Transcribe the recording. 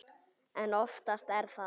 En oftast er það